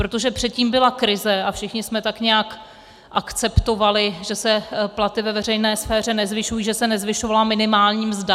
Protože předtím byla krize a všichni jsme tak nějak akceptovali, že se platy ve veřejné sféře nezvyšují, že se nezvyšovala minimální mzda.